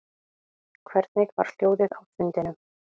Hvernig var hljóðið á fundinum